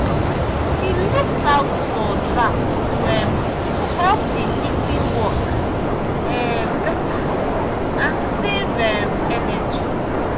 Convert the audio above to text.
he looks out for drafts to um help the heating work um better and save um energy.